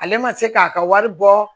Ale ma se k'a ka wari bɔ